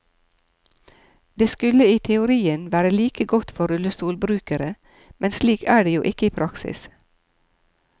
Det skulle i teorien være like godt for rullestolbrukere, men slik er det jo ikke i praksis.